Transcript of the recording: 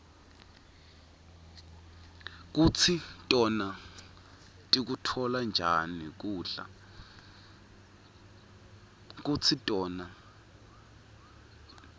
kutsi tona tikutfola njani kubla